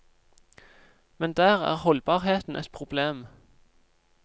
Men der er holdbarheten et problem.